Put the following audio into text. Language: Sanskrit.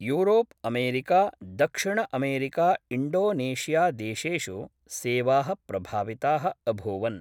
यूरोप् अमरीका दक्षिणअमरीकाइण्डोनेशियादेशेषु सेवा: प्रभाविता: अभूवन्।